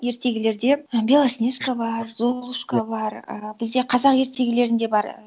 ертегілерде і белоснежка бар золушка бар і бізде қазақ ертегілерінде бар